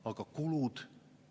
Aga kulud?